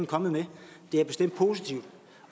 kommet med det er bestemt positivt